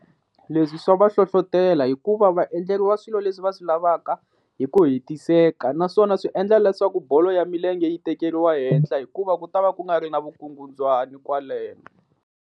Leswi swa va hlohlotela hikuva va endleriwa swilo leswi va swi lavaka hi ku hetiseka naswona swi endla leswaku bolo ya milenge yi tekeriwa ehehla hikuva ku ta va ku nga ri na vukungundzwani kwaleno.